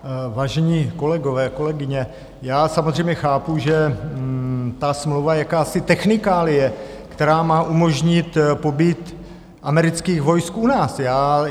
Vážení kolegové, kolegyně, já samozřejmě chápu, že ta smlouva je jakási technikálie, která má umožnit pobyt amerických vojsk u nás.